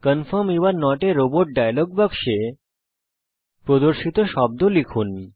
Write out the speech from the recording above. confirm you are not a robot dialogue বাক্সে প্রদর্শিত শব্দ লিখুন